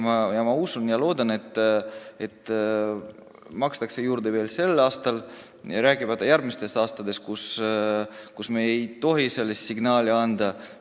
Ma usun ja loodan, et sinna makstakse juurde veel sel aastal, rääkimata järgmistest aastatest, sest me ei tohi vale signaali anda.